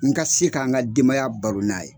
N ka se ka n ka denbaya baro n'a ye